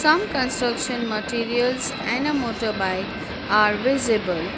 Some construction materials and a motorbike are visible.